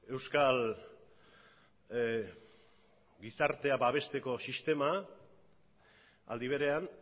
euskal gizartea babesteko sistema aldi berean